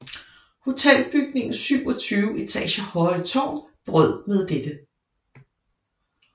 Hotelbygningens 27 etager høje tårn brød med dette